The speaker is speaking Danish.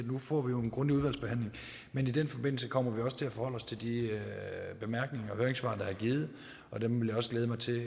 får vi jo en grundig udvalgsbehandling men i den forbindelse kommer vi også til at forholde os til de bemærkninger og høringssvar der er givet dem vil jeg også glæde mig til